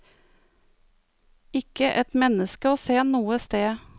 Ikke et menneske å se noe sted.